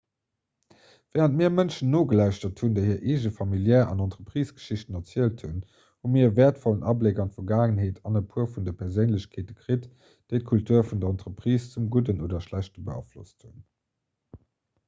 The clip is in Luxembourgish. wärend mir mënschen nogelauschtert hunn déi hir eegen familiär an entreprisegeschichten erzielt hunn hu mir e wäertvollen abléck an d'vergaangenheet an e puer vun de perséinlechkeete kritt déi d'kultur vun der entreprise zum gudden oder schlechte beaflosst hunn